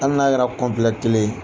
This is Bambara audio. Hali n'a kɛrɛ kelen ye.